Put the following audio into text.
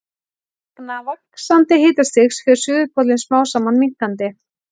Vegna vaxandi hitastigs fer suðurpóllinn smám saman minnkandi.